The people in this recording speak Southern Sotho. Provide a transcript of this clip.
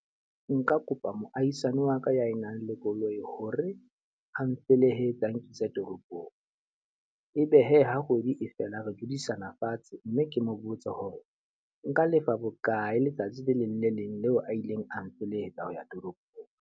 Nka kopa moahisani wa ka ya e nang le koloi hore a mfelehetse a nkisa toropong. E be he ha kgwedi e fela re dudisana fatshe mme ke mo botse hore nka lefa bokae letsatsi le leng le leng leo a ileng a mfelehetsa ho ya toropong.